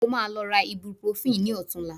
Mo máa lọ ra ibuprofen ní ọ̀tunla